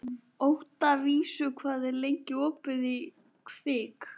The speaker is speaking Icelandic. Oktavíus, hvað er lengi opið í Kvikk?